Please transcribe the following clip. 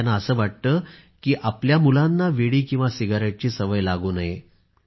त्यांना असे वाटते की आपल्या मुलांना विडी किंवा सिगारेटची सवय लागू नये